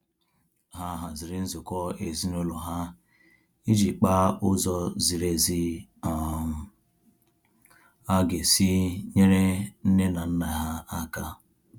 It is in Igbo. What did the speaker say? Ha haziri nzukọ ezinaụlọ ha iji kpaa ụzọ ziri ezi um a ga-esi nyere nne na nna ha aka